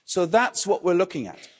That's what we're looking at.